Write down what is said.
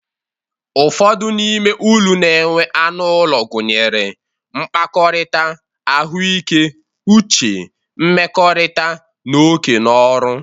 Ụfọdụ n'ime uru na-enwe anụ ụlọ, gụnyere, mkpakọrita, ahụike uche, nmekorita, na oke no ọrụ.